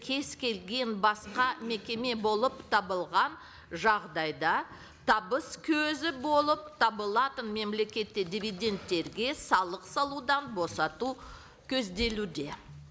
кез келген басқа мекеме болып табылған жағдайда табыс көзі болып табылатын мемлекетті дивидендтерге салық салудан босату көзделуде